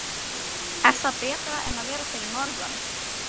Er það betra en að vera fyrir norðan?